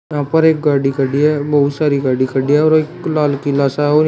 यहां पर एक गाडी खड़ी है बहुत सारी गाडी खड़ी है और एक लाल किला सा और --